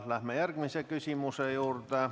Läheme järgmise küsimuse juurde.